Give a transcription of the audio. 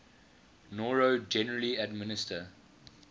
noro generally administer